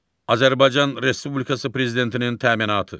Azərbaycan Respublikası prezidentinin təminatı.